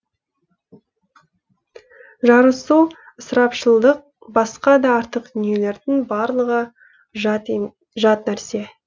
жарысу ысырапшылдық басқа да артық дүниелердің барлығы жат нәрсе